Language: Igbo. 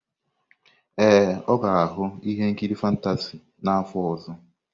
Ee, ọ ga-ahụ ihe nkiri fantasị n'afọ ọzọ.